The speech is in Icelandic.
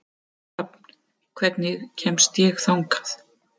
Hrafn, hvernig kemst ég þangað?